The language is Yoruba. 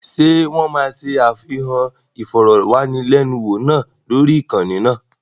Ṣé wọ́n máa ṣe àfihàn ìfọ̀rọ̀wánilẹ́niwò náà lórí ìkànnì náà?